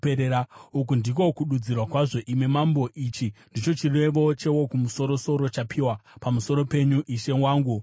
“Uku ndiko kududzirwa kwazvo, imi mambo, ichi ndicho chirevo cheWokumusoro-soro chapiwa pamusoro penyu, ishe wangu mambo: